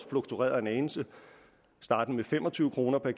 fluktueret en anelse startende ved fem og tyve kroner per